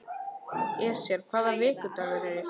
Esjar, hvaða vikudagur er í dag?